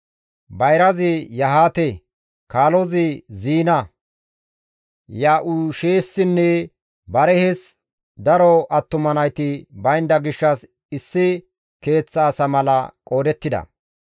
Bayrazi Yahaate, kaalozi Ziina; Ya7uushessinne Barihes daro attuma nayti baynda gishshas issi keeththa asa mala qoodettida.